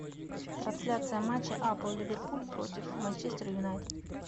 трансляция матча апл ливерпуль против манчестер юнайтед